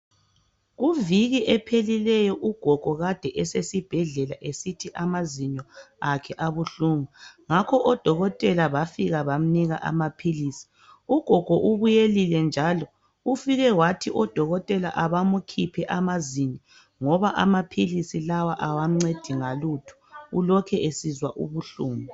Kuviki ephelileyo ugogo kade esesibhedlela esithi amazinyo akhe abuhlungu ngakho odokotela bafika bamnika amaphilisi ugogo ubuyelile njalo ufike wathi odokotele abamukhiphe amazinyo ngoba amaphilisi lawa kawamuncedi ngalutho ulokhe esizwa ubuhlungu.